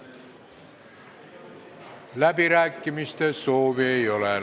Läbirääkimiste soovi ei ole.